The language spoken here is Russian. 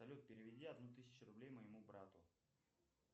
салют переведи одну тысячу рублей моему брату